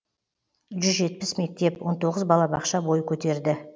жүз жетпіс мектеп он тоғыз балабақша бой көтерді